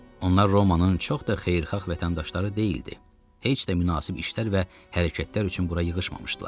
Onlar Romanın çox da xeyirxah vətəndaşları deyildi, heç də münasib işlər və hərəkətlər üçün bura yığışmamışdılar.